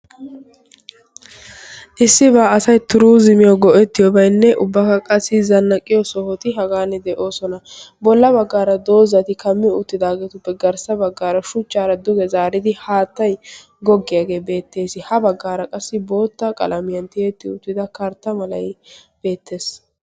issibaa asay turuzimiyo go'ettiyoobainne ubbaka qasi zannaqqiyo sohoti hagan de'oosona. bolla baggaara doozati kammi uuttidaageetuppe garssa baggaara shuchchaara duge zaaridi haattay goggiyaagee beettees. ha baggaara qassi bootta qalamiyan tiyetti uttida kartta malay beettees.